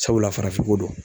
Sabula farafin ko don